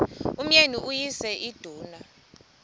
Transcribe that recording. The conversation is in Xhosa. umyeni uyise iduna